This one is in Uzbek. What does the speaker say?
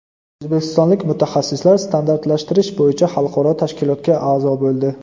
O‘zbekistonlik mutaxassislar standartlashtirish bo‘yicha xalqaro tashkilotga a’zo bo‘ldi.